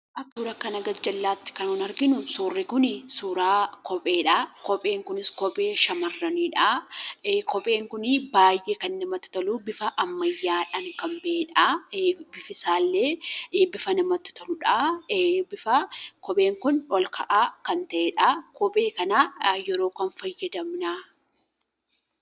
Suura asiin gadii irratti kan arginu kopheedha. Kopheen kunis kophee shamarranidha. Kopheen kun baay'ee kan namatti toludha. Bifa ammaayyaadhaan kan bahedha. Bifti isaallee kan namatti toludha. Bifa olka'aa kan qabudha. Kopheen kana yeroo akkamii fayyadamna?